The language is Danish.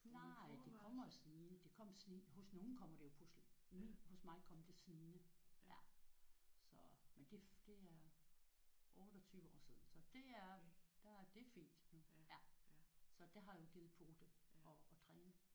Nej det kommer snigende. Det kom snigende hos nogen kommer det jo pludseligt. Min hos mig kom det snigende ja så men det det er 28 år siden så det er der det er fint nu ja. Så det har jo givet pote at at træne